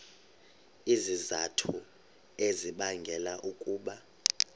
izizathu ezibangela ukuba